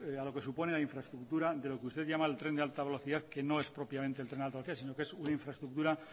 a lo que supone la infraestructura de lo que usted llama el tren de alta velocidad que no es propiamente el tren de alta velocidad sino que es una infraestructura